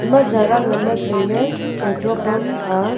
ema jaga ngan ley tai ley petrol pam a.